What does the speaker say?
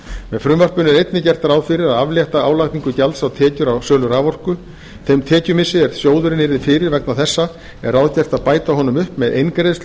með frumvarpinu er einnig gert ráð fyrir að aflétta álagningu gjalds á tekjur af sölu raforku þeim tekjumissi er sjóðurinn yrði fyrir vegna þessa er ráðgert að bæta honum upp með eingreiðslu